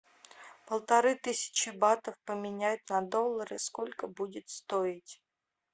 полторы тысячи батов поменять на доллары сколько будет стоить